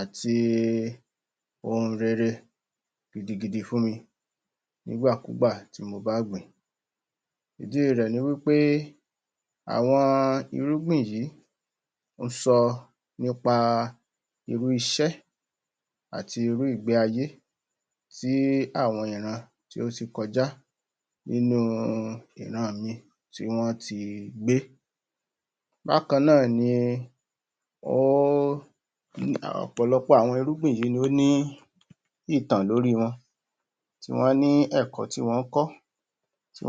àti i ohun rere gidi gidi fún mi nigbàkúgbà tí mo bá gbìn-ín idí rẹ̀ ni wí pé àwọn irúgbìn yìí o sọ nípa a irú iṣẹ́ ati irú ìgbé ayé tí àwọn ìran tí ó tí kọjá nínú ìran mi tí wọ́n ti gbé bákanná ni óóóóóó um um ọ̀pọ̀lopọ̀ irúgbìn yíì ló ní ìtàn lórí wọn tíwọ́n ní ẹ̀kọ́ tí wọ́n k̀ọ́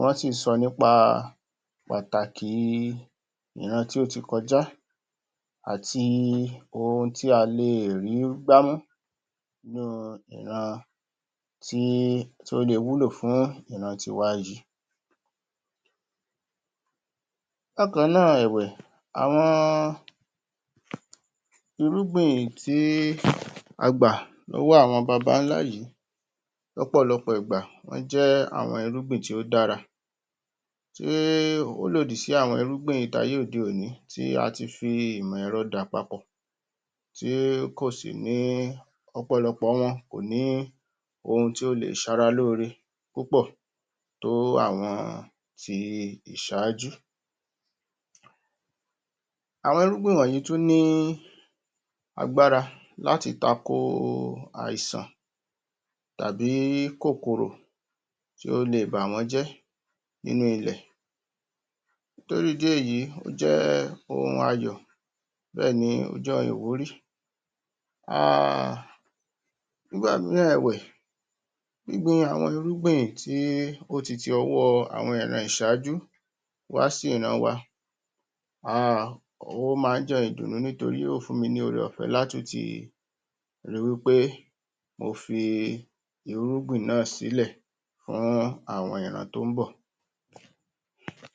wọ́n sì sọ nípa patàkì i ìran tí ó ti kọjá àti i ohun tí a lè rí gbámú? um tí í ó le wúlò fún ìran ti wájú bákanná ẹ̀wẹ̀ àwọn? irúgbìn tí í agbà lówó àwọn babálá yìí lọ́pọ̀lọpọ̀ ìgbà wọ́́́́́́́́́́́́n jé àwọn irúgbin tí ó dára tí í ó lòdì sí àwọn irúgbìn táyé òde òní tí ati ìmọ̀ - èrọ dàpapọ̀ tí kò sì ní ọ̀pọ̀lọpò wọn ko ̀ ní ohun tí ó lè ṣera lóre púpọ̀ tó ó àwọn ti i ìsájú àwọn irúgbìn wọ̀nyí tún ní agbára láti tako oo àìsàn tàbí kòkòrò tí ó le è bà wọ́n jẹ́ nínú ilẹ̀ torí ìdí èyí ó jẹ́ ohun ayọ bẹ́ẹ̀ni o ́ jẹ́ ohun ìwúrí aaaaaaaaaaaaaaaaa nígbà mìràn ẹ̀wẹ̀ gbín gbin àwọn irúgbìn tí í ó ti ti ọwọ́ àwọn ìran ìsájú wá sí ìran wa ahhhh ó má jẹ́ ohun ìdùnú nítorí ó fún mi ní ore - ọ̀fẹ́ lá tún ti i wi ́ pé mo fi i irúgbìn ná̀à sílẹ̀ fún àwọn ìran tó bọ̀.